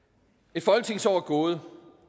et folketingsår er gået